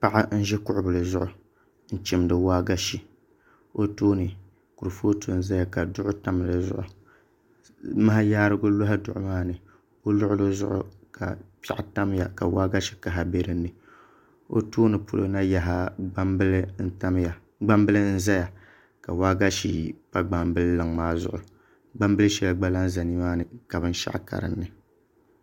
Paɣa n ʒi kuɣu bili zuɣu n chimdi waagashe o tooni kuripooti n ʒɛya ka duɣu tam di zuɣu maha yaarigu loɣi duɣu maa ni o luɣuli zuɣu ka piɛɣu tamya ka waagashe kaha bɛ dinni o tooni polo na yaha gbambili n tamya ka waagashe pa gbambili luŋ maa zuɣu gbambili shɛli gba lahi ʒɛ nimaani ka binshaɣu ka dinni